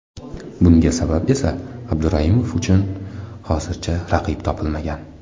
Bunga sabab esa Abduraimov uchun hozircha raqib topilmagan.